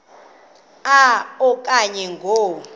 a okanye ngo